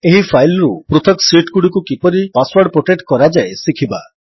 ଏହି ଫାଇଲ୍ ରୁ ପୃଥକ୍ ଶୀଟ୍ ଗୁଡ଼ିକୁ କିପରି ପାସୱର୍ଡ ପ୍ରୋଟେକ୍ଟ କରାଯାଏ ଶିଖିବା